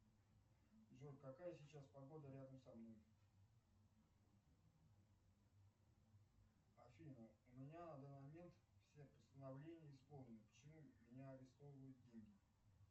джой какая сейчас погода рядом со мной афина у меня на данный момент все постановления исполнены почему у меня арестовывают деньги